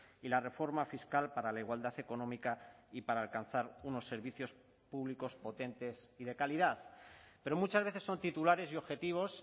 y la reforma fiscal para la igualdad económica y para alcanzar unos servicios públicos potentes y de calidad pero muchas veces son titulares y objetivos